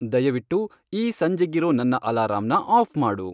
ದಯವಿಟ್ಟು ಈ ಸಂಜೇಗಿರೋ ನನ್ನ ಅಲಾರಾಂನ ಆಫ್ ಮಾಡು